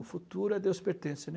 O futuro a Deus pertence, né?